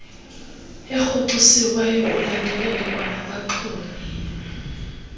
erhoxisiweyo ulandelele kwanabaxumi